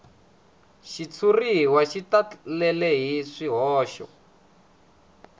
xitshuriwa xi talele hi swihoxo